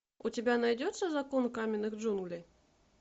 у тебя найдется закон каменных джунглей